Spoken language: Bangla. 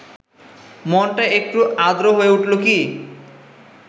মনটা একটু আর্দ্র হয়ে উঠল কি